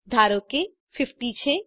ધારો કે 50 છે